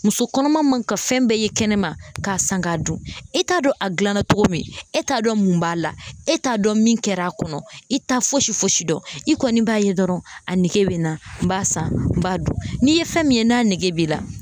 Muso kɔnɔman man ka fɛn bɛɛ ye kɛnɛma k'a san k'a dun e t'a dɔn a gilanna togo min e t'a dɔn mun b'a la e t'a dɔn min kɛr'a kɔnɔ i t'a fosi fosi dɔn i kɔni b'a ye dɔrɔn a nege be n na n b'a san n b'a dun n'i ye fɛn min ye n'a nege b'i la